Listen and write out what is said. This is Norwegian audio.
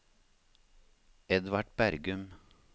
Edvard Bergum